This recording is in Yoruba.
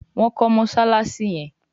Wón kò Mossalassi yén.